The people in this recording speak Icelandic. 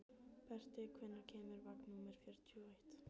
Berti, hvenær kemur vagn númer fjörutíu og eitt?